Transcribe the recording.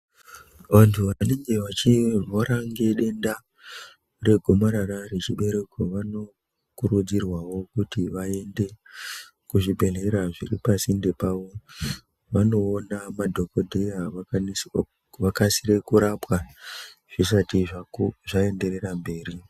Vantu vanenge vachirwara ngedenda regomarara rechibereko vanokurudzirwawo kuti vaende kuzvibhedhleya zviri pasinde pawo vandoona madhokodheya vakasire kurapwa zvisati zvaenderera mberi.